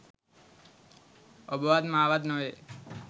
ඔබවත් මා වත් නොවේ